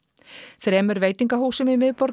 þremur veitingahúsum í miðborginni